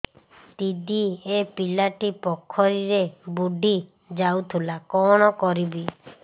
ଦିଦି ଏ ପିଲାଟି ପୋଖରୀରେ ବୁଡ଼ି ଯାଉଥିଲା କଣ କରିବି